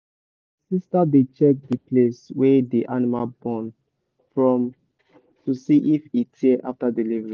my sister dey check the place wey the animal born from to see if e tear after delivery.